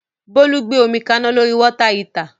Bólú gbé omi kaná lórí Water heater